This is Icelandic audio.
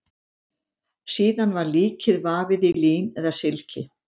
Síðan var líkið vafið í lín eða silki.